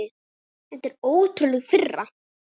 Þetta er ótrúleg firra.